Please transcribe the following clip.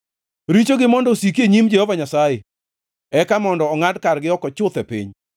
Richogi mondo osiki e nyim Jehova Nyasaye, eka mondo ongʼad kargi oko chuth e piny.